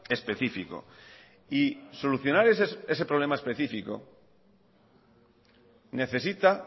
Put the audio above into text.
específico y solucionar ese problema específico necesita